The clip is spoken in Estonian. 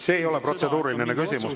See ei ole protseduuriline küsimus.